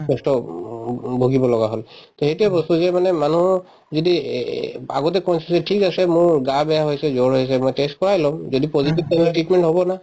কষ্ট উম উম ভুগিব লগা হল তে সেইটোয়ে বস্তু যে মানে মানুহ যদি এ এ আগতে ঠিক আছে মোৰ গা বেয়া হৈ আছে জ্বৰ হৈ আছে মই test কৰাই লম যদি positive তেনেহলে treatment হব না